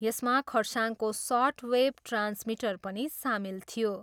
यसमा खरसाङको shortwave transmitter पनि सामेल थियो।